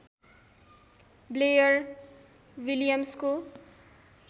Blair विलियम्सको